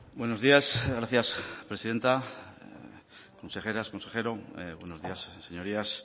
buenos días gracias presidenta consejeras consejero buenos días señorías